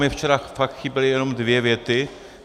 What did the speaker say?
Mně včera fakt chyběly jenom dvě věty.